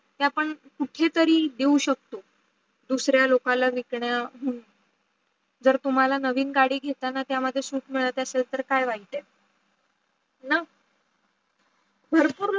ते आपण कुठेतरी देऊ शकतो दुसऱ्या लोकांना हम्म विक्या जर तुम्हाला नवीन गाडी घेताना त्यामध्ये सुख मिडत असेल तर काय इत् आहे ना? भरपूर